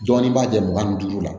Jɔnni b'a jɛ mugan ni duuru la